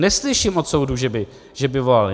Neslyším od soudu, že by volali.